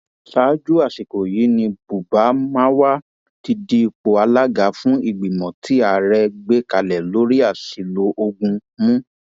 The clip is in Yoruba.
ṣáájú àsìkò yìí ni buba marwa ti di ipò alága fún ìgbìmọ tí ààrẹ gbé kalẹ lórí àṣìlò ogun mú